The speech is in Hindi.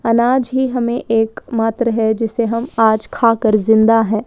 अनाज ही हमे एक मात्र है जिसे हम आज खा कर आज जिन्दा है।